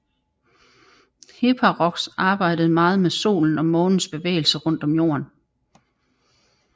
Hipparchos arbejdede meget med Solens og Månens bevægelser rundt om Jorden